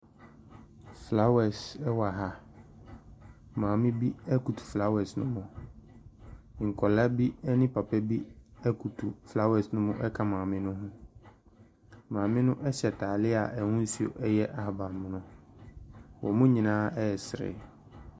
Flawɛs ɛwɔ ha. Maame bi ɛkoto flawɛs ne ho. Nkɔlaa bi ɛne papa bi ebutu flawɛs ne ho ɛka maame no ho. Maame no ɛhyɛ ataaleɛ a ɛhosuo ɛyɛ ahabanmono. Ɔmo nyinaa ɛsere.